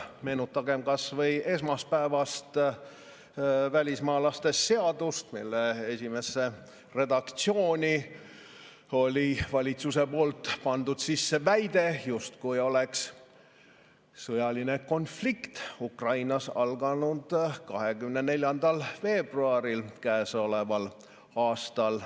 Meenutagem kas või esmaspäevast välismaalaste seadust, mille esimesse redaktsiooni oli valitsus pannud sisse väite, justkui oleks sõjaline konflikt Ukrainas alanud 24. veebruaril käesoleval aastal.